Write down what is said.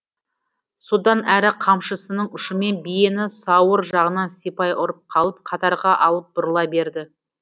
содан әрі қамшысының ұшымен биені сауыр жағынан сипай ұрып қалып қатарға алып бұрыла берді